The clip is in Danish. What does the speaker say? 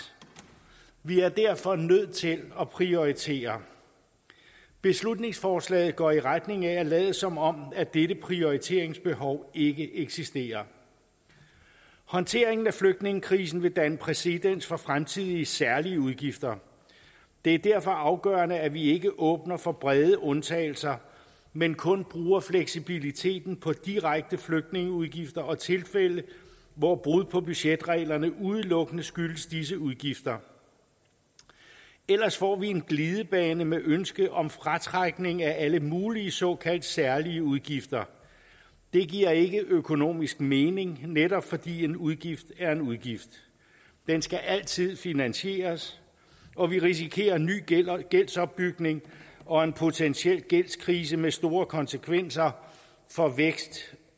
vi er derfor nødt til at prioritere beslutningsforslaget går i retning af at lade som om dette prioriteringsbehov ikke eksisterer håndteringen af flygtningekrisen vil danne præcedens for fremtidige særlige udgifter det er derfor afgørende at vi ikke åbner for brede undtagelser men kun bruger fleksibiliteten på direkte flygtningeudgifter og tilfælde hvor brud på budgetreglerne udelukkende skyldes disse udgifter ellers får vi en glidebane med ønske om fratrækning af alle mulige såkaldt særlige udgifter det giver ikke økonomisk mening netop fordi en udgift er en udgift den skal altid finansieres og vi risikerer ny gældsopbygning og en potentiel gældskrise med store konsekvenser for vækst